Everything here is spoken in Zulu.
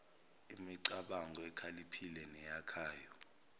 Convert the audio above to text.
emicabango ekhaliphile neyakhayo